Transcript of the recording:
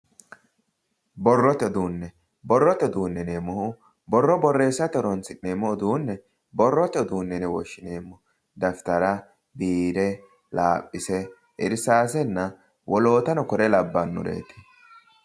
borrote uduunne borrote uduunne yineemmohu borro borreessate horonsi'neemmo uduunne borrote uduunne yine woshshineemmo dafitara, biire, laaphise, irsaasenna wolootano kore labbanoreeti